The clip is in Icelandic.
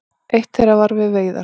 Eitt þeirra var við veiðar.